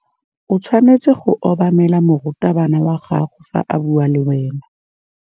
O tshwanetse go obamela morutabana wa gago fa a bua le wena.